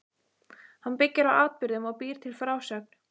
Hann byggir á atburðum og býr til frásögn.